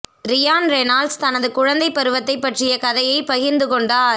Ryan Reynolds தனது குழந்தைப் பருவத்தைப் பற்றிய கதையைப் பகிர்ந்து கொண்டார்